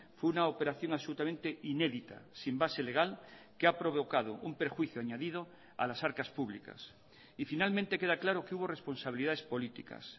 fue una operación absolutamente inédita sin base legal que ha provocado un perjuicio añadido a las arcas públicas y finalmente queda claro que hubo responsabilidades políticas